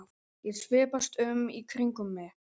Hann öskraði eins hátt og hann gat.